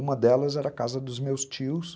Uma delas era a casa dos meus tios.